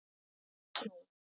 Ég gerði það, hægri snú.